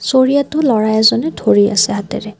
চৰিয়াটো ল'ৰা এজনে ধৰি আছে হাতেৰে।